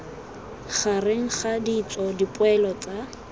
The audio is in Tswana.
gareg ga ditso dipoelo tsa